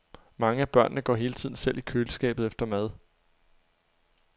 Mange af børnene går hele tiden selv i køleskabet efter mad.